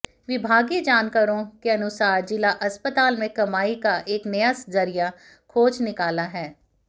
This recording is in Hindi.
विभागीय जानकारों के अनुसार जिला अस्पताल में कमाई का एक नया जरिया खोज निकाला है